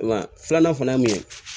Wa filanan fana ye mun ye